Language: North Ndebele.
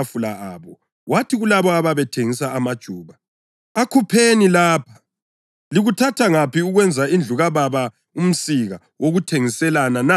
Wathi kulabo ababethengisa amajuba, “Akhupheni lapha! Likuthatha ngaphi ukwenza indlu kaBaba umsika wokuthengiselana na?”